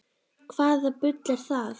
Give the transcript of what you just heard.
Hvaða bull er það?